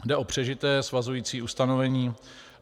Jde o přežité svazující ustanovení.